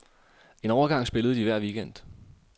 En overgang spillede de hver weekend.